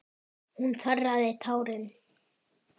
Hún þerraði tárin.